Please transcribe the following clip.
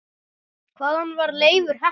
Hvaðan var Leifur heppni?